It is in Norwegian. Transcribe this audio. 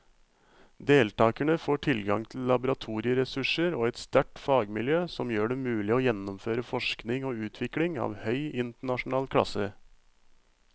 Deltakerne får tilgang til laboratorieressurser og et sterkt fagmiljø som gjør det mulig å gjennomføre forskning og utvikling av høy internasjonal klasse.